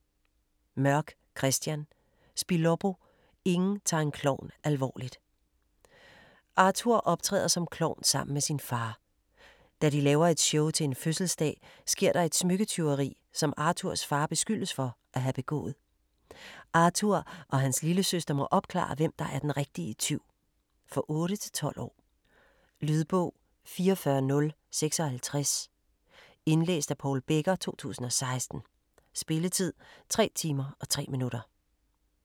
Mørk, Kristian: Spiloppo: ingen tager en klovn alvorligt Arthur optræder som klovn sammen med sin far. Da de laver et show til en fødselsdag, sker der et smykketyveri, som Arthurs far beskyldes for at have begået. Arthur og hans lillesøster må opklare, hvem der er den rigtige tyv. For 8-12 år. Lydbog 44056 Indlæst af Paul Becker, 2016. Spilletid: 3 timer, 3 minutter.